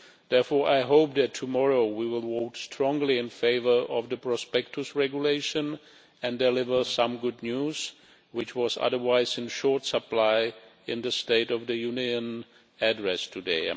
Therefore I hope that tomorrow we will vote strongly in favour of the Prospectus Regulation and deliver some good news which, I am afraid, was otherwise in short supply in the State of the Union address today.